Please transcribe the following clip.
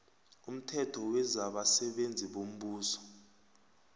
umthetho wezabasebenzi bombuso